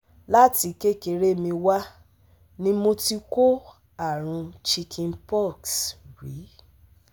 Láti kékeré mi wá ni mo ti kó àrùn Chicken pox rí